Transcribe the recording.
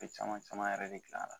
Be caman caman yɛrɛ de gilan la